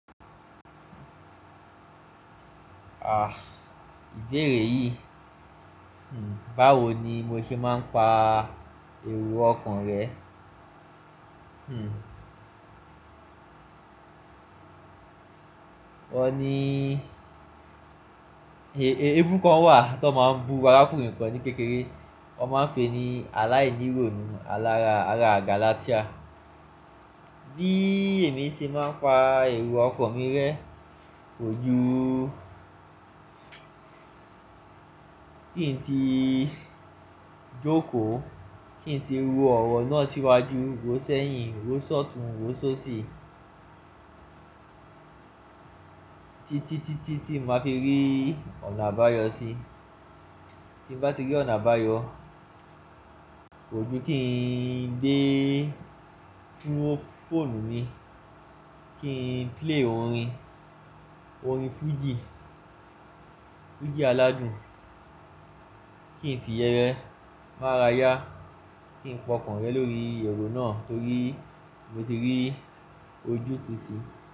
À, ìbéèrè yìí, hmmm báwo ni mo ṣe máa ń pa èrò ọkan rẹ? Hmmm ọ ní, èébú kan wà tí wọ́n máa ń bu arákùnrin kan ní kékeré, wọ́n máa ń pè é ní aláìnírònú alára, ara gálátíà. Bí èmi ṣe máa ń pa èrò ọkan mi rẹ, kojú kín n ti jókòó, kín n ti ro ọ̀rọ̀ náà síwájú, ró sẹ́yìn, ró sọ́tùn, ró sóṣì tí, tí, tí, tí, tí máa fi rí ọ̀nà àbáyọ sí. Tí mo bá ti rí ọ̀nà àbáyọ, kojú kín dé fó foonù mi, kí n play orin, orin fújì, fújì aládùn, kí n fi iyẹ́n máa ráyá, kí n pa ọkan rẹ lórí èrò náà torí mo ti rí ojú tu sí.